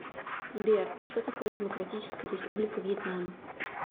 сбер что такое демократическая республика вьетнам